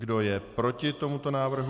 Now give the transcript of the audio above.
Kdo je proti tomuto návrhu?